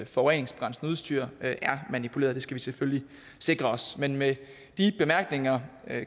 forureningsbegrænsende udstyr er manipuleret det skal vi selvfølgelig sikre os med med de bemærkninger